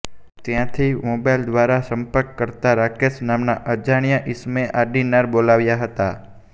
ત્યાંથી મોબાઇલ દ્વારા સંપર્ક કરતા રાકેશ નામના અજાણ્યાં ઈસમે આડીનાર બોલાવ્યાં હતાં